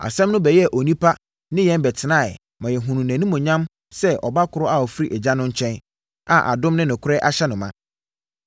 Asɛm no bɛyɛɛ onipa ne yɛn bɛtenaeɛ ma yɛhunuu nʼanimuonyam sɛ ɔba korɔ a ɔfiri Agya no nkyɛn a adom ne nokorɛ ahyɛ no ma.